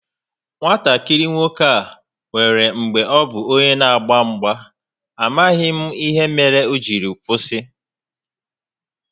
Nwatakịrị nwoke a nwèrè mgbè ọ bu onye n'agba mgba, amaghị m ihe mere o jiri kwụsị